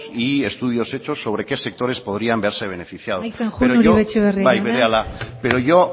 y estudios hechos sobrequé sectores podrían verse beneficiados amaitzen joan uribe etxebarria jauna bai berehala pero yo